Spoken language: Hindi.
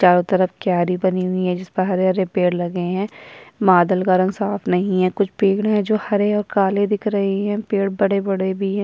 चारो तरफ क्यारी बनी हुई है हरे-हरे पेड़ लगी हुई है बादल का रंग साफ नहीं है कुछ पेड़ है हरे और काले दिख रहे है पेड़ बड़े-बड़े भी है। --